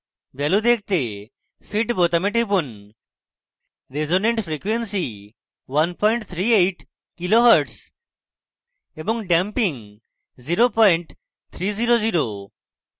value দেখতে fit বোতামে টিপুন রেসোন্যান্ট ফ্রিকোয়েন্সি = 138 khz এবং ড্যাম্পিং = 0300